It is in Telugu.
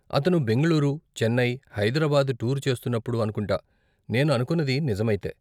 అతను బెంగుళూరు, చెన్నై, హైదరాబాద్ టూర్ చేస్తున్నప్పుడు అనుకుంటా, నేను అనుకున్నది నిజమైతే.